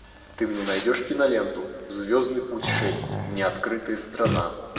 ты мне найдешь киноленту звездный путь шесть неоткрытая страна